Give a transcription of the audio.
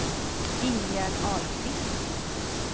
Ingegärd Ahlqvist